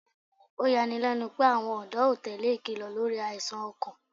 Oyani lẹnu pe awọn ọ̀dọ́ o tele ikilọ lori aisan ọkan